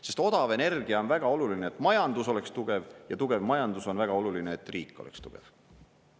Sest odav energia on väga oluline, et majandus oleks tugev, ja tugev majandus on väga oluline, et riik oleks tugev.